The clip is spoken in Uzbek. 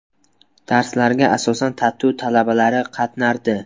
Darslarga asosan TATU talabalari qatnardi.